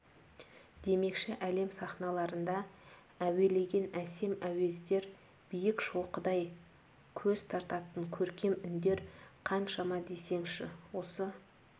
демекші әлем сахналарында әуелеген әсем әуездер биік шоқыдай көз тартатын көркем үндер қаншама десеңші осы